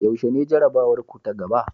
Yaushe ne jarabawarku ta gaba?